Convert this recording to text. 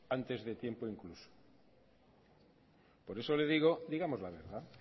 antes de tiempo incluso por eso le digo digamos la verdad